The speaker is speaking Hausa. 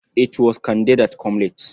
It was Kande that come late.